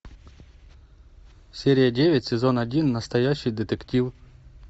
серия девять сезон один настоящий детектив